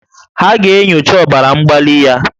Ha ga-enyocha ọbara mgbali ya